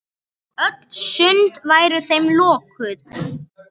Öll sund væru þeim lokuð.